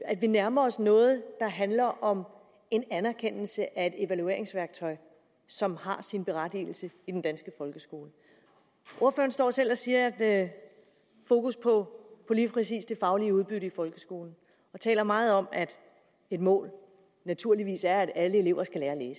at vi nærmer os noget der handler om en anerkendelse af et evalueringsværktøj som har sin berettigelse i den danske folkeskole ordføreren står selv og siger at være fokus på lige præcis det faglige udbytte i folkeskolen og taler meget om at et mål naturligvis er at alle elever skal lære at